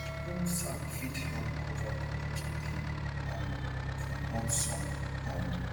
old sack fit help cover compost bin um from hot sun um